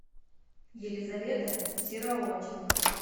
елизавета серооченко